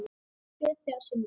Kveð þig að sinni.